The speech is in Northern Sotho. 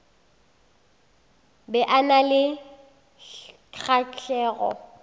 be a na le kgahlego